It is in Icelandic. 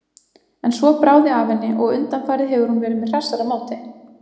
En svo bráði af henni og undanfarið hefur hún verið með hressara móti.